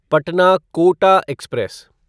Patna Kota express